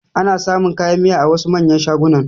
Ana samun kayan miya a wasu manyan shagunan